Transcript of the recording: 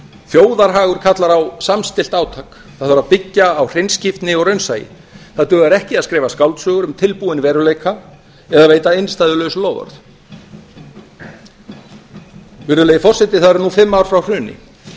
þjóðarhagur kallar á samstillt átak það þarf að byggja á hreinskiptni og raunsæi það dugar ekki að skrifa skáldsögur um tilbúinn veruleika eða veita innstæðulaus loforð virðulegi forseti það eru nú fimm ár frá hruni